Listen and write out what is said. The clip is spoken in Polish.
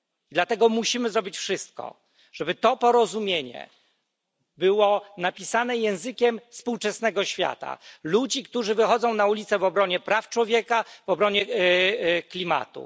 Dlatego musimy zrobić wszystko, żeby to porozumienie było napisane językiem współczesnego świata, ludzi, którzy wychodzą na ulice w obronie praw człowieka, w obronie klimatu.